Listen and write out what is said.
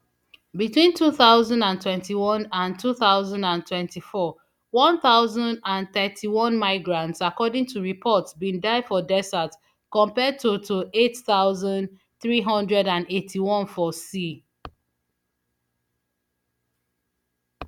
between two thousand and twenty-one and two thousand and twenty-four one thousand and thirty-one migrants according to reports bin die for desert compared to to eight thousand, three hundred and eighty-one for sea